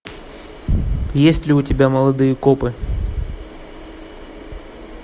есть ли у тебя молодые копы